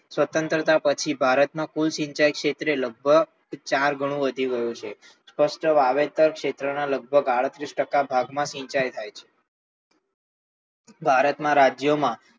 સ્વતંત્રતા પછી ભારતના કુલ સિંચાઈ ક્ષેત્રે લગભગ ચાર ગણો વધી રહ્યો છે સ્પષ્ટ વાવેતર ક્ષેત્ર ના લગભગ અડત્રીસ ટકા ખેતરમાં સિંચાઈ થાય છ ભારતમાં રાજ્યમાં